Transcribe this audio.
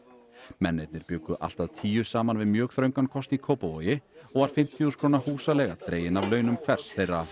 mennirnir bjuggu allt að tíu saman við mjög þröngan kost í Kópavogi og var fimmtíu þúsund króna húsaleiga dregin af launum hvers þeirra